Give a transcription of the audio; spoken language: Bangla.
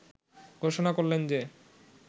ঘোষণা করলেন যে